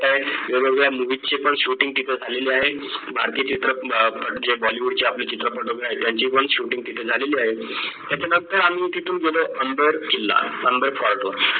तर वेगवेगळ्या MOVIES ची पण shooting तिथे झालेली आहे. भारतीय चित्रपट जे bollywood चे आपले चित्रपट वगैरे आहे त्यांची पण shooting तिथे झालेली आहे त्याच्या नंतर तिथून गेलो अंबर किल्ला अंबर fort ला